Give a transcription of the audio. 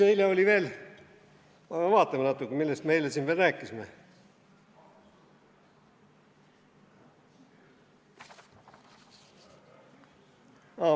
Ma pean vaatama natuke, millest me eile siin veel rääkisime.